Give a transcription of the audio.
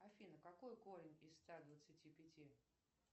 афина какой корень из ста двадцати пяти